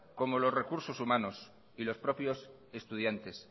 como los recursos humanos y los propios estudiantes